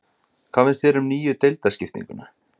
Hvað finnst þér um nýju deildarskiptinguna?